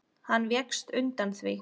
Hann vékst undan því.